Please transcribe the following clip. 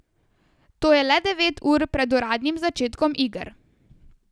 To je le devet ur pred uradnim začetkom iger.